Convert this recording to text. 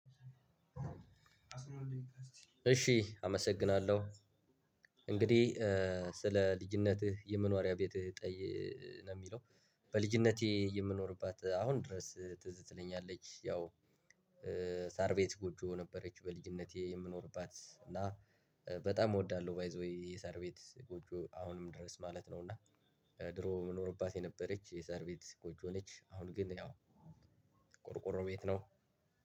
እሺ አመሰግናለሁ እንግዲህ ስለ ልጅነትህ የመኖሪያ ቤትህ ጠይ ነው የሚለው? በልጅነቴ የምኖርባት አሁን ድረስ ትዝ ትለኛለች ያው የሳር ቤት ጎጆ ነበረች። በልጅነቴ የምኖርባት እና በጣም እወዳለሁ ባይዘወይ የሳር ቤት ጎጆ አሁንም ድረስ ማለት ነው። እና ድሮ የምኖርባት የነበረች የሳር ቤት ጎጆ ነች። አሁን ግን ያው ቆርቆሮ ቤት ነው።